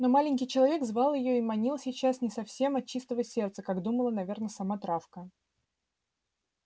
но маленький человек звал её и манил сейчас не совсем от чистого сердца как думала наверно сама травка